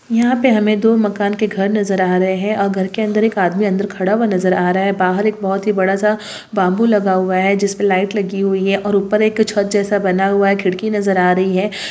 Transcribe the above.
यहाँ पे हमे दो मकान के घर नज़र आ रहे है और घर के अंदर एक आदमी अंदर खड़ा हुआ नज़र आ रहा है बाहर एक बहुत ही बड़ा सा बांबू लगा हुआ है जिसपे लाइट लगी हुई है और उपर एक छत जैसा बना हुआ है खिडकी नज़र आ रही है।